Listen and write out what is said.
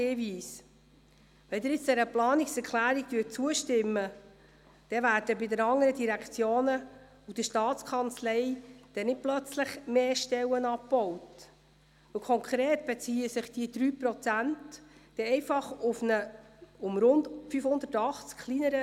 Wir stellen die Planungserklärung 2a.a FiKo-Mehrheit und FDP/Haas der Planungserklärung der FiKo-Minderheit gegenüber.